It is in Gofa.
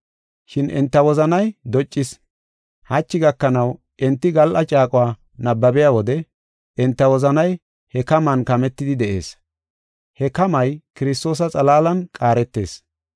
Shin enta wozanay doccis. Hachi gakanaw enti gal7a caaquwa nabbabiya wode enta wozanay he kaman kametidi de7ees. He kamay Kiristoosa xalaalan qaaretees.